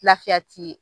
Lafiya ti